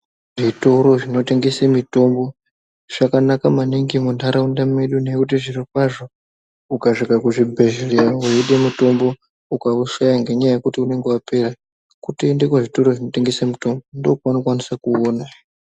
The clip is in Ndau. Zvitoro zvinotengese mitombo, zvakanaka maningi muntharaunda medu, ngekuti zvirokwazvo ,ukasvike kuzvibhedhleya weide mutombo ukaushaya ngenyaya yekuti unenge wapera ,kutoende kuzvitoro zvinotengese mitombo. Ndokwaunokwanisa kuuona.